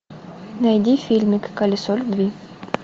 найди фильмик колесо любви